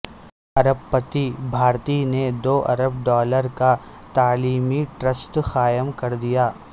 ارب پتی بھارتی نے دوارب ڈالر کا تعلیمی ٹرسٹ قائم کردیا